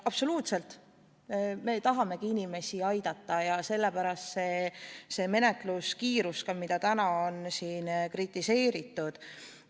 Absoluutselt, me tahamegi inimesi aidata ja sellepärast ka selline menetluse kiirus, mida täna on siin kritiseeritud.